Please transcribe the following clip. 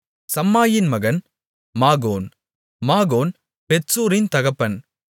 சம்மாயின் மகன் மாகோன் மாகோன் பெத்சூரின் தகப்பன்